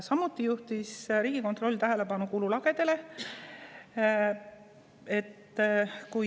Samuti juhtis Riigikontroll tähelepanu kululagedele.